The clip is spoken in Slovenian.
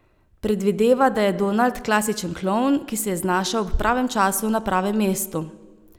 Predvideva, da je Donald klasičen klovn, ki se je znašel ob pravem času na pravem mestu.